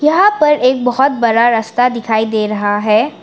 यहां पर एक बहोत बड़ा रास्ता दिखाई दे रहा है।